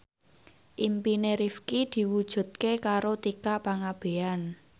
impine Rifqi diwujudke karo Tika Pangabean